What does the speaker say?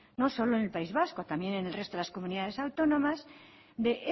no solo en el país vasco también en el resto de las comunidades autónomas de